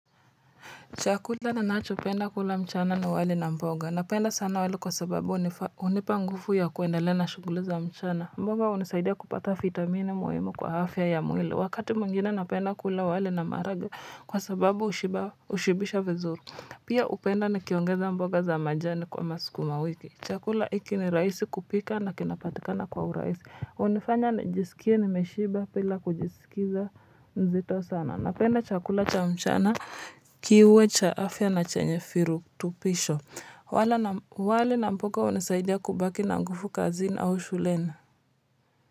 Chakula ninacho penda kula mchana na wali na mboga. Napenda sana wali kwa sababu hunipa nguvu ya kuendelea na shughuli za mchana. Mboga hunisaidia kupata vitamini muhimu kwa afya ya mwili. Wakati mwingine napenda kula wali na maharage kwa sababu hushibisha vizuri. Pia hupenda ni kiongeza mboga za majani kwa masukuma wiki. Chakula hiki ni rahisi kupika na kinapatikana kwa urahisi hunifanya nijisikie nimeshiba bila kujisikiza mzito sana. Napenda chakula cha mchana. Kiwe cha afya na chenye virutubisho wala wali na mboga hunisaidia kubaki na nguvu kazini au shuleni.